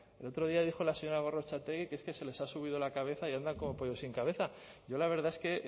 el otro día dijo la señora gorrotxategi que es que se les ha subido la cabeza y andan como pollo sin cabeza yo la verdad es que